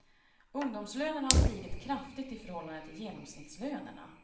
Ungdomslönerna har stigit kraftigt i förhållande till genomsnittslönerna.